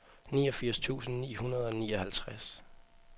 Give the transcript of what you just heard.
niogfirs tusind ni hundrede og nioghalvtreds